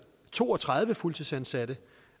to og tredive fuldtidsansatte